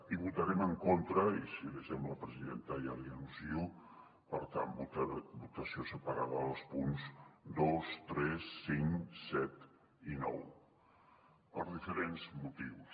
i votarem en contra i si li sembla presidenta ja li anuncio per tant votació separada dels punts dos tres cinc set i nou per diferents motius